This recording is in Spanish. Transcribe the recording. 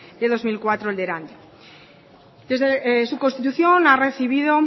de dos mil cuatro el de erandio desde su constitución ha recibido